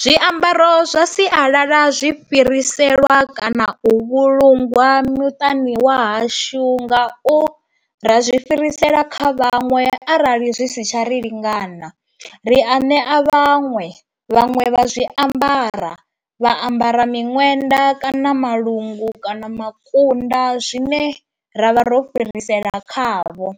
Zwiambaro zwa sialala zwi fhiriselwa kana u vhulungwa muṱani wa hashu ngau ra zwi fhirisela kha vhaṅwe arali zwi si tsha ri lingana. Ri a ṋea vhaṅwe, vhaṅwe vha zwiambara vha ambara miṅwenda kana malungu kana makunda zwine ra vha ro fhirisela khavho,